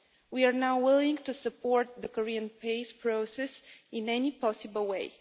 We are now willing to support the Korean peace process in any possible way.